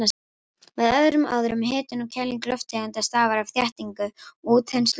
Með öðrum orðum, hitun og kæling lofttegunda stafar af þéttingu og útþenslu þeirra.